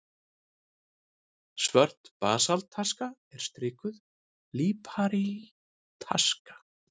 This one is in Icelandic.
Svört basaltaska og strikuð líparítaska.